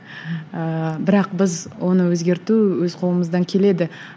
ііі бірақ біз оны өзгерту өз қолымыздан келеді